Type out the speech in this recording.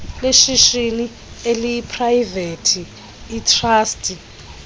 leshishini eliprayivethi itrasti